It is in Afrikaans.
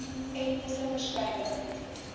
etniese verskeidenheid